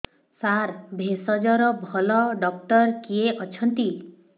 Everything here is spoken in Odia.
ସାର ଭେଷଜର ଭଲ ଡକ୍ଟର କିଏ ଅଛନ୍ତି